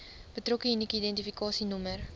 betrokke unieke identifikasienommer